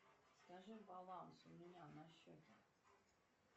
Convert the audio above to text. скажи баланс у меня на счете